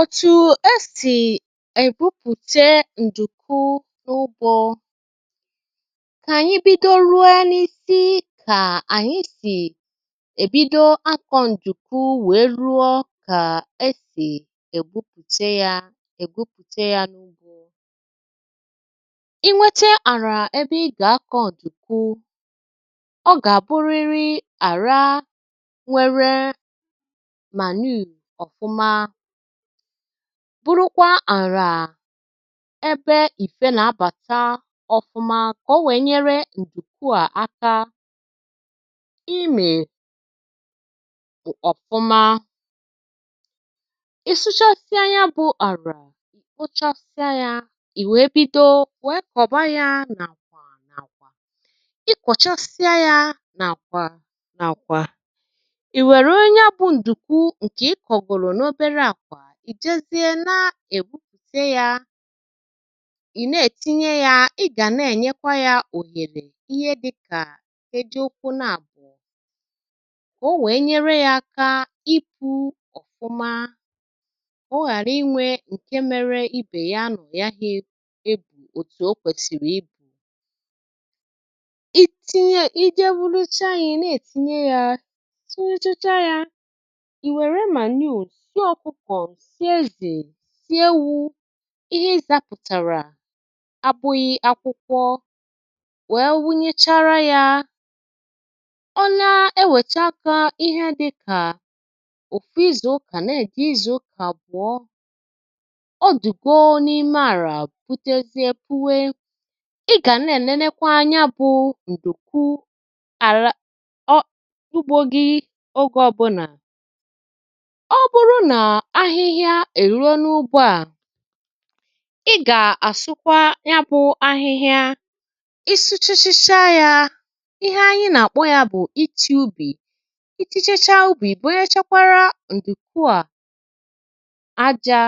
Ọ̀tụ e sì èbupùte ǹdùkwu n’ụgbọ̇. kà ànyị bido ruo n’isi, kà ànyị sì èbido akọ̀ ǹdùkwu, wèe ruọ kà esì ègbupùte yȧ, Ègbupùte yȧ n’ugbȯ,. I nwete àrà ebe ị gà-akọ̀ ǹdùkwu. Ọ gà-àbụrịrị àrà nwere manure ofuma. Bụrụkwa àrà, ebe ìfe nà-abàta ọ̀fụma, kà o wèe nyere ǹdùkwu à aka ịmị̀ ọ̀fụma. Ị sụchasịa ya bụ àrà, ǹkpochasịa ya, ì wèe bido, wèe kọ̀ba ya n’àkwà n’àkwà. Ị kọ̀chasịa ya n’àkwà n’àkwà, ì wèrè onye a bụ ǹdùkwu ǹkè ị kọ̀gòrò n’obera akwa, I jezie, na-ègwupùte yȧ, ì na-ètinye yȧ. Ị gà na-ènyekwa yȧ ò yèlè ihe dịkà eji okwu na-àbò, o nwèe nyere yȧ aka ịpụ̇ ọ̀fụma, ọ ghàra inwė ǹke mere ibè yà anọ̀ ya ha ebù òtù o kwèsìrì ibu̇. Ije Ewulochaa yȧ, ị̀ na-ètinye yȧ, sonye chacha yȧ, ì wère manure, nsị ọkụkọ, sie ezè, rie ewu̇, ihe ịzȧpụ̀tàrà abụghị akwụkwọ, wee wụnyechara yȧ. O na-ewècha aka, ihe a dị̇kà òfu ịzù ụkà. Na-èji ịzù ụkà àgbụ̀ọ. O dùgo n’ime àlà, butezi ebuwe. Ị gà na-ènenekwa anya bụ̀ ǹdùkwu àla o ugbȯghị̇ ogė ọbụ̇nà. Ọ̀ bụrụ na ahịhịa e'rue na ụgbọ a, ị gà-àsụkwa ya bụ̇ ahịhịa. Isi̇chịchịa yȧ, ihe anyị nà-àkpọ yȧ bụ̀ iti̇ ubì. Iti̇chịchịa ubì, bụrụchakwara ǹdùkwù à aja.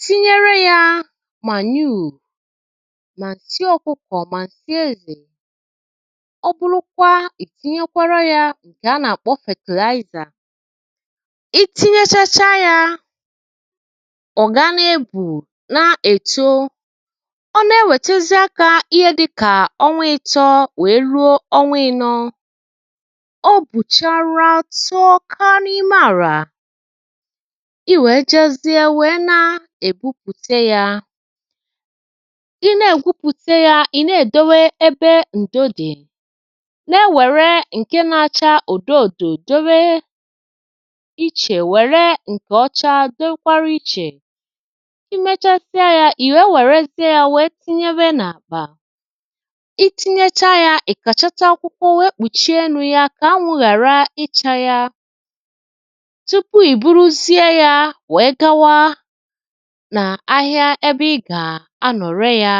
Tinyere yȧ manure, mà nsị ọkụkọ̀, mà nsị e nè. Ọbụlụkwa ì tinyekwara yȧ ǹkè a nà-àkpọ fertilizer. I tinye chachaya, ọ̀ gà-ebù n’èto. Ọ na-ewètezie kà ihe dị kà ọ nwee ịtọ, wèe ruo ọnwȧ ịnọọ; o bùchara atọ ọka n’ime àrà. i wèe jezie, wèe na-ègwupùte yȧ. I na-ègwupùte yȧ, ị̀ na-èdowe ebe ǹdo dì, nà-ewère ǹke nȧ-ȧchȧ ùdo òdò, do we ìche, were nkọchado nwekwara iche. Imechasịa ya, ì nwerezie yȧ, nwèe tinyebe n’àkpà. Iti̇nyecha yȧ, iwe nkàchata akwụkwọ nwèe kpùchie enu̇ yȧ, kà anwụ̇ ghàra ichȧ yȧ, tupu ì buruzie yȧ nwèe gawa nà ahịa, ebe ị gà-ànọ̀rị yȧ.